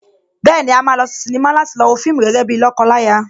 Bẹ́ẹ̀ni, a máa lọ sí sínímà láti lọ wo fíìmù gẹ́gẹ́ bíi lọ́kọ láya